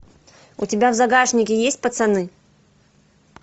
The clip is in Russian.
у тебя в загашнике есть пацаны